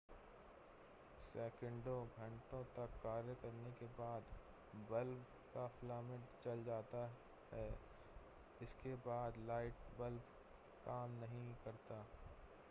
सैकड़ों घंटे तक कार्य करने के बाद बल्ब का फिलामेंट जल जाता है और इसके बाद लाइट बल्ब काम नहीं करता